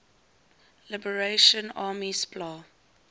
liberation army spla